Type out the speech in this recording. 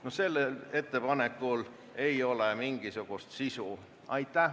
No sellel ettepanekul ei ole mingisugust sisu.